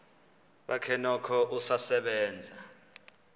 bakhe noko usasebenza